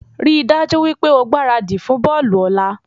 Rí dájú wípé o gbáradì fún bọ́ọ̀lù òla